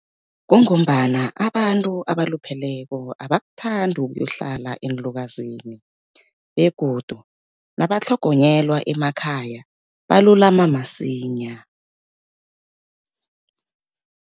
Kungombana abantu abalupheleko abakuthandi ukuyohlala eenlukazini begodu nabatlhogonyelwa emakhaya balulama masinya.